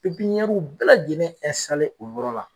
bɛɛ lajɛlen o yɔrɔ la.